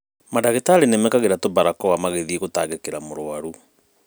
Mandagĩtarĩ nĩmekĩraga tũbarakoa magĩthiĩ gũtangĩkira mũrũaru